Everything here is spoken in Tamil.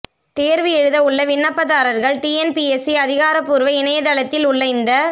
தேர்வு எழுத உள்ள விண்ணப்பதாரர்கள் டிஎன்பிஎஸ்சி அதிகாரப்பூர்வ இணையதளத்தில் உள்ள இந்த